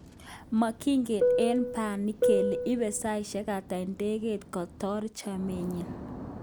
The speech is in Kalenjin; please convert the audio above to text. Mokigen eng bani kele ibe saishek ata idegeit kotar chopenyin.